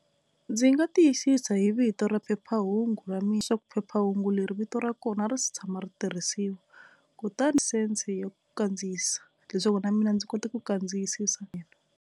Ndzi nga tiyisisa hi vito ra phephahungu ra mina swa ku phephahungu leri vito ra kona a ri se tshama ri tirhisiwa kutani ya ku kandziyisa leswaku na mina ndzi kota ku kandziyisisa .